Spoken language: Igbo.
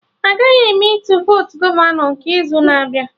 Agaghị eme Ịtụ votu gọvanọ nke izu na-abịa